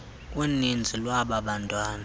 uninzi lwaba bantwana